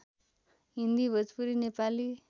Hindi Bhojpuri Nepali